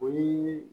O ye